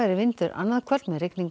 vindur annað kvöld með rigningu